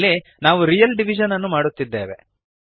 ಇಲ್ಲಿ ನಾವು real division ಅನ್ನು ಮಾಡುತ್ತಿದ್ದೇವೆ